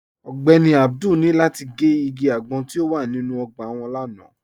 Ọ̀gbẹ́ní Abdul ni lati gẹ́ igi agbọ̀n ti o wà nínu ogbà wọn lánà.